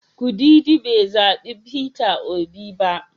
Kudidi bai zabi Peter Obi ba.